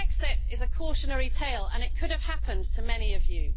Brexit is a cautionary tale, and it could have happened to many of you.